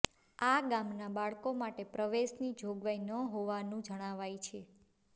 આ ગામના બાળકો માટે પ્રવેશની જોગવાઈ ન હોવાનું જણાવાય છે